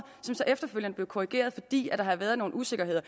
som så efterfølgende blev korrigeret fordi der havde været nogle usikkerheder